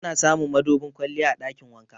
Ana samun madubin kwalliya a ɗakin wanka.